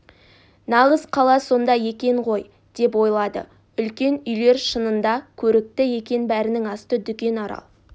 нағыз қала сонда екен ғой деп ойлады үлкен үйлер шынында көрікті екен бәрінің асты дүкен арал